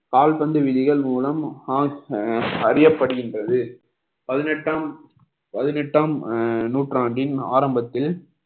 கால்பந்து விதிகள் மூலம் அறியப்படுகின்றது பதினெட்டாம் பதினெட்டாம் அஹ் நூற்றாண்டின் ஆரம்பத்தில்